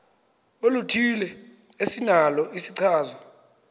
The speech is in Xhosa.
oluthile esinalo isichazwa